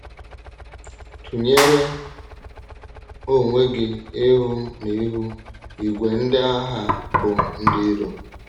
Tụ̀nyere onwe gị ihu n’ihu ìgwè ndị agha bụ́ ndị ìrò.